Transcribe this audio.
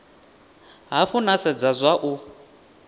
hafhu na sedza zwa u